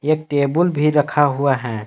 एक टेबुल भी रखा हुआ है।